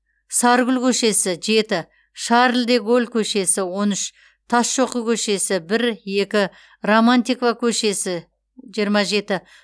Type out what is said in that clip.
саргүл көшесі жеті шарль де голль көшесі он үш тасшоқы көшесі бір екі романтикова көшесі жиырма жеті